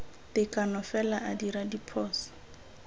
tekano fela a dira diphoso